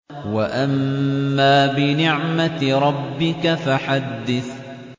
وَأَمَّا بِنِعْمَةِ رَبِّكَ فَحَدِّثْ